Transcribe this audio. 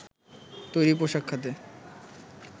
তৈরি পোশাক খাতে